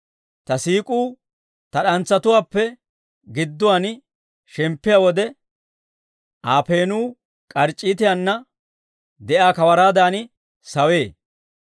Ta siik'uu ta d'antsatuwaappe gidduwaan shemppiyaa wode, Aa peenuu k'arc'c'iitiyaana de'iyaa kawaraadan sawee.